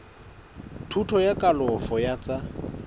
thuto ya kalafo ya tsa